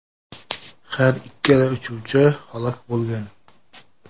Har ikkala uchuvchi halok bo‘lgan.